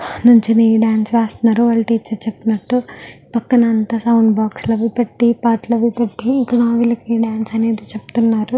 నించుని డాన్స్ వేస్తున్నారు వాళ్ళ టీచర్ చెప్పినట్టు. పక్కన సౌండ్ బాక్స్ లాగా పెట్టి పాటలు అవి పేట్టి వాళ్ళకి డాన్స్ అనేది చెప్తున్నారు.